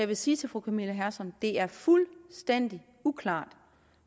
vil sige til fru camilla hersom at det er fuldstændig uklart